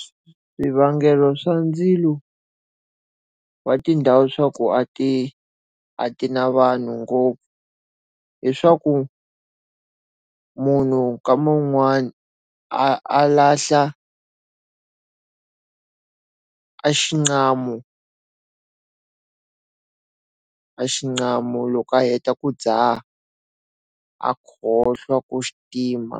Swivangelo swa ndzilo wa tindhawu swa ku a ti a ti na vanhu ngopfu. Hi swa ku munhu ka man'wani a a lahla a axiqamu a xiqamu loko a heta ku dzaha. A khohlwa ku xitima.